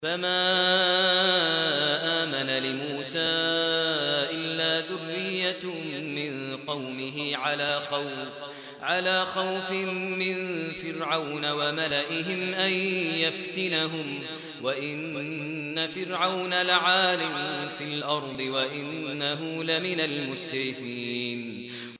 فَمَا آمَنَ لِمُوسَىٰ إِلَّا ذُرِّيَّةٌ مِّن قَوْمِهِ عَلَىٰ خَوْفٍ مِّن فِرْعَوْنَ وَمَلَئِهِمْ أَن يَفْتِنَهُمْ ۚ وَإِنَّ فِرْعَوْنَ لَعَالٍ فِي الْأَرْضِ وَإِنَّهُ لَمِنَ الْمُسْرِفِينَ